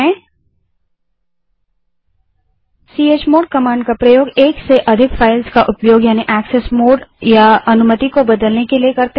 chmod command का प्रयोग एक से अधिक फ़ाइलों का उपयोग यानि एक्सेस मोड या अनुमति को बदलने के लिए करते हैं